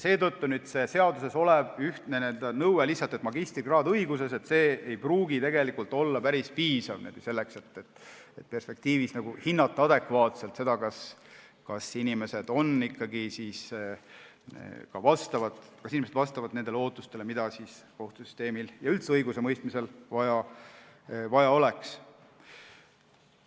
Seetõttu ei pruugi seaduses olev ühtne nõue, et peab olema magistrikraad õiguses, tegelikult olla päris piisav, selleks et perspektiivis adekvaatselt hinnata, kas inimene ikkagi vastab nendele ootustele, mida kohtusüsteemil ja üldse õigusemõistmisel vaja oleks.